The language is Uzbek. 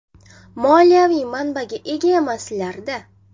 Moliyaviy manbaga ega emaslar-da!